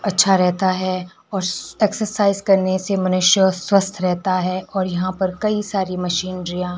अच्छा रहता है और एक्सरसाइज करने से मनुष्य स्वस्थ रहता है और यहां पर कई सारी मशीनरियां --